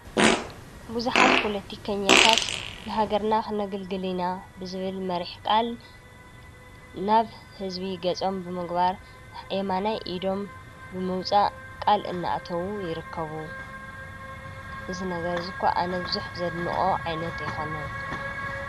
ብዙሓት ፖቲካኛታት ንሃገርና ክነግልግል ኢና ብዝብል መሪሕ ቃል ናብ ህዝቢ ገፆም ብምግባር የማናይ ኢዶም ብምውፃእ ቃል እናተዉ ይርከቡ፡፡ እዚ ነገር እዚ እኳነ ኣነ ቡዙሕ ዘድንቆ ዓይነት ኣይኮነን፡፡